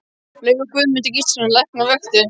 Laug og Guðmundur Gíslason læknir vöktu